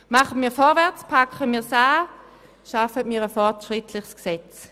Machen wir vorwärts, packen wir es an und schaffen wir ein fortschrittliches Gesetz!